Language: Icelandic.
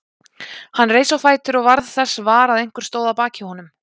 Hann reis á fætur og varð þess var að einhver stóð að baki honum.